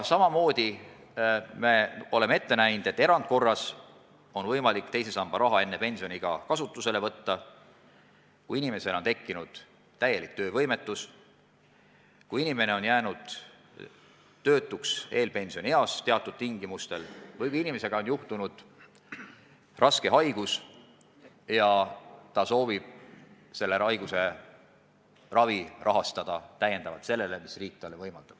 Samamoodi oleme ette näinud, et erandkorras on võimalik teise samba raha enne pensioniiga kasutusele võtta, kui inimesel on tekkinud täielik töövõimetus, kui inimene on jäänud töötuks eelpensionieas või kui inimest on tabanud raske haigus ja ta soovib seda raha kasutada selle haiguse raviks.